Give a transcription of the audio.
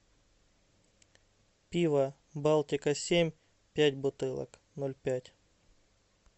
пиво балтика семь пять бутылок ноль пять